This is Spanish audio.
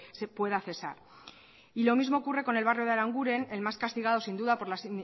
se pueda cesar y lo mismo ocurre con el barrio de aranguren el más castigado sin duda por las